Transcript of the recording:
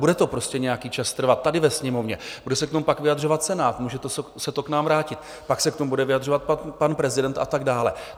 Bude to prostě nějaký čas trvat tady ve Sněmovně, bude se k tomu pak vyjadřovat Senát, může se to k nám vrátit, pak se k tomu bude vyjadřovat pan prezident a tak dále.